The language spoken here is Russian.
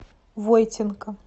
войтенко